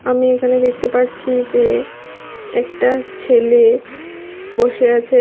আমি এখানে দেখতে পারছি যে একটা ছেলে বসে আছে।